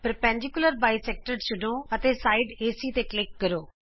ਲੰਬ ਦੋਭਾਜਕ ਟੂਲ ਚੁਣੋ ਅਤੇ ਭਾਗ ਏਸੀ ਤੇ ਕਲਿਕ ਕਰੋ